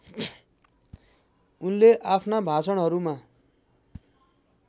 उनले आफ्ना भाषणहरूमा